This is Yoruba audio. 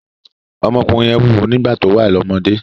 Ọmọkùnrin yẹn wúwo nígbà tó wà ní ọ́mọdé